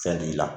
Fɛn t'i la